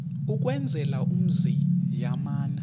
ukwenzela umzi yamana